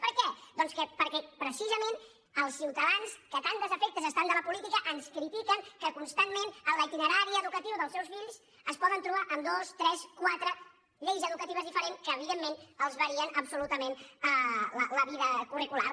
per què doncs perquè precisament els ciutadans que tan desafectes estan de la política ens critiquen que constantment en l’itinerari educatiu dels seus fills es poden trobar amb dues tres quatre lleis educatives diferents que evidentment els varien absolutament la vida curricular